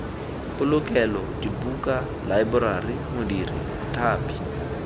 polokelo dibuka laeborari modiri mothapi